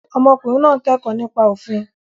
Ọmọkùnrin náà ń kẹ́kọ̀ọ́ nípa òfin.